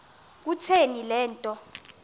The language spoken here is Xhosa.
kutheni le nto